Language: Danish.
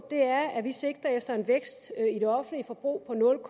det er at vi sigter efter en vækst i det offentlige forbrug på nul